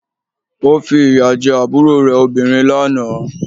Ó fi ìyà jẹ àbúrò rẹ̀ obìnrin lánàá